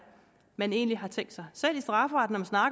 man egentlig har tænkt sig selv i strafferetten